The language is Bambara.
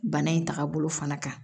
Bana in tagabolo fana kan